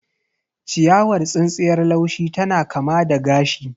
Ciyawar tsintsiyar laushi tana kama da gashi.